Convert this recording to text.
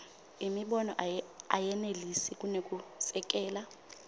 imibono ayenelisi kunekusekela